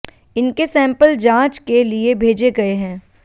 इनके सैंपल जांच के लिए भेजे गए हैं